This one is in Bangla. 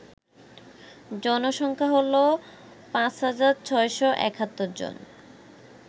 জনসংখ্যা হল ৫৬৭১ জন